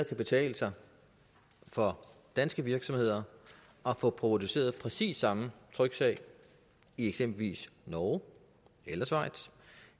betale sig for danske virksomheder at få produceret præcis samme tryksag i eksempelvis norge eller schweiz